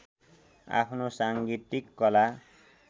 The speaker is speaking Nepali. आफ्नो साङ्गीतीक कला